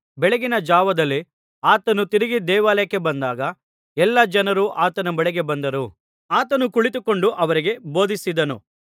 ಬೆಳಗಿನಜಾವದಲ್ಲಿ ಆತನು ತಿರುಗಿ ದೇವಾಲಯಕ್ಕೆ ಬಂದಾಗ ಎಲ್ಲಾ ಜನರು ಆತನ ಬಳಿಗೆ ಬಂದರು ಆತನು ಕುಳಿತುಕೊಂಡು ಅವರಿಗೆ ಬೋಧಿಸಿದನು